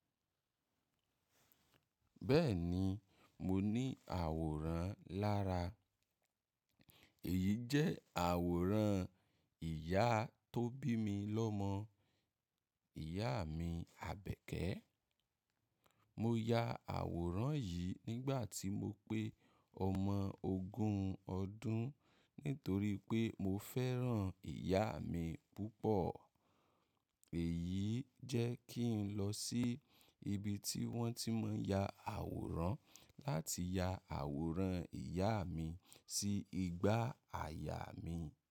Bẹ́ẹ̀ni, mo ní àwòrán lára. Èyí jẹ́ àwòrán ìyá tó bí mi lọ́mọ, ìyá mi Àbẹ̀kẹ́. Mo ya àwòrán yìí nígbà tí mo pé ọmọ ogún ọdún nítorí pé mo fẹ́ràn ìyá mi púpọ̀. Èyí jẹ́ kí n lọ sí ibi tí wọ́n ti máa ń ya àwòrán láti ya àwòrán ìyá mi sí igbá àyà mi.